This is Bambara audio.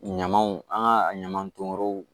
Ɲamanw an ka ɲamanw yɔrɔw